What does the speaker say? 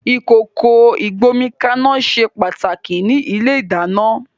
Ìkòkò ìgbómikaná ṣe pàtàkì ní ilé-ìdáná